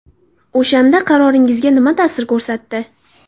O‘shanda qaroringizga nima ta’sir ko‘rsatdi?